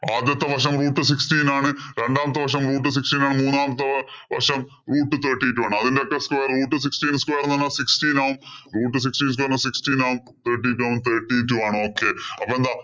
ആദ്യത്തെ വശം root sixteen ആണ്. രണ്ടാമത്തെ വശം root sixteen ആണ്. മൂന്നാമത്തെ വശം root thirty two ആണ്. അതിന്‍റെയൊക്കെ square root sixteen square എന്ന് പറഞ്ഞാല്‍ sixteen ആവും. Thirteen എന്ന് പറഞ്ഞാല്‍ thirty two ആണ്. Okay.